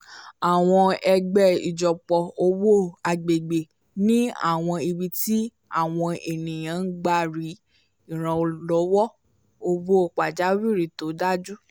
àwọn ẹgbẹ́ ìjọpọ̀ owó agbègbè ni àwọn ibi tí àwọn ènìyàn gbà rí ìrànlọ́wọ́ owó pajawìrì tó dájú